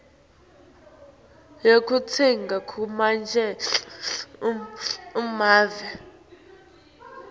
yekutsenga kulamanye emave